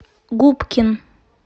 губкин